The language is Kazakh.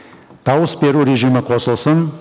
дауыс беру режимі қосылсын